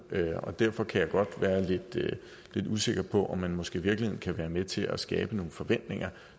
derfor kan jeg godt være lidt usikker på om man måske i virkeligheden kan være med til at skabe nogle forventninger